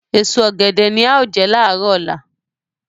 Èso ọ̀gẹ̀dẹ̀ ni a ó jẹ láàárọ̀ ọ̀la